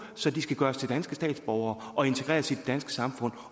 så de skal gøres til danske statsborgere og integreres i det danske samfund